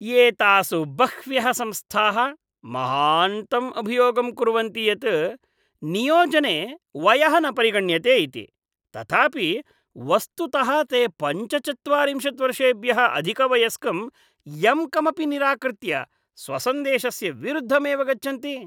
एतासु बह्व्यः संस्थाः महान्तम् अभियोगं कुर्वन्ति यत् नियोजने वयः न परिगण्यते इति, तथापि वस्तुतः ते पञ्चचत्वारिंशत् वर्षेभ्यः अधिकवयस्कं यं कमपि निराकृत्य स्वसन्देशस्य विरुद्धमेव गच्छन्ति।